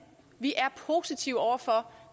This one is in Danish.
vi er positive over for